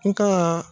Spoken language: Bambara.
N ka